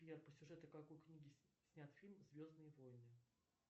сбер по сюжету какой книги снят фильм звездные войны